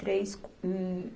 três. co, hum